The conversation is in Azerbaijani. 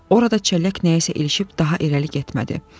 Orada çəllək nəyəsə ilişib daha irəli getmədi.